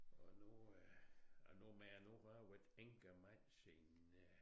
Og nu øh og nu man nu har været enkemand siden øh